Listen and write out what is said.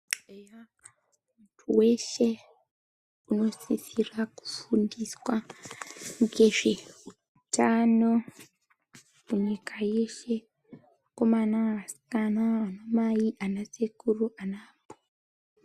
Eya weshe unosisirwa kufundiswa ngezveutano nyika yeshe, akomana, asikana, anamai anasekuru, anambuya.